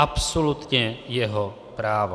Absolutně jeho právo.